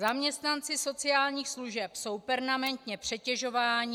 Zaměstnanci sociálních služeb jsou permanentně přetěžováni.